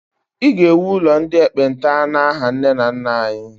I ga-ewu ụlọ ndị ekpenta n'aha nne na nna anyị!